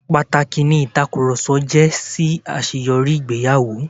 Pàtàkì ni ìtakùrọ̀sọ jẹ́ sí àṣeyọrí ìgbéyàwó.